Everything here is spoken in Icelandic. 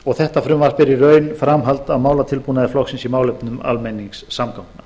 og þetta frumvarp er í raun framhald af málatilbúnaði flokksins í málefnum almenningssamgangna